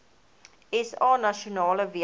sa nasionale weermag